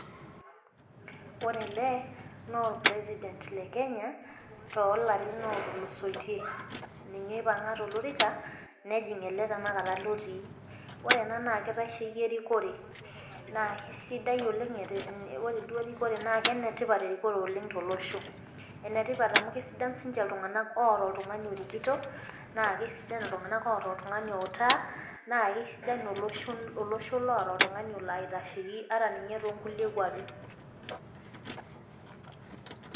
Ore ele, naa or president le Kenya, tolarin otulusotie. Ninye oipang'a tolorika, nejing ele tanakata lotii. Ore ena naa kitasheki erikore. Na kesidai oleng, ore duo erikore na kenetipat erikore oleng tolosho. Enetipat amu kesidan sinche iltung'anak oota oltung'ani orikito, naa kesidan iltung'anak oota oltung'ani outaa, na kesidanu olosho loota oltung'ani olaitasheki ata ninye tonkulie kwapi.